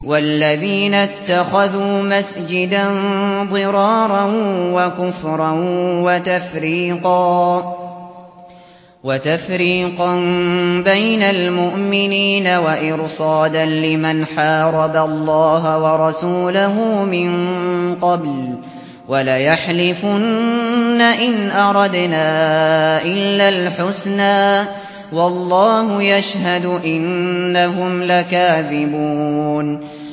وَالَّذِينَ اتَّخَذُوا مَسْجِدًا ضِرَارًا وَكُفْرًا وَتَفْرِيقًا بَيْنَ الْمُؤْمِنِينَ وَإِرْصَادًا لِّمَنْ حَارَبَ اللَّهَ وَرَسُولَهُ مِن قَبْلُ ۚ وَلَيَحْلِفُنَّ إِنْ أَرَدْنَا إِلَّا الْحُسْنَىٰ ۖ وَاللَّهُ يَشْهَدُ إِنَّهُمْ لَكَاذِبُونَ